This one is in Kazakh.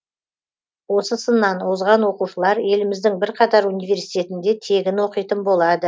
осы сыннан озған оқушылар еліміздің бірқатар университетінде тегін оқитын болады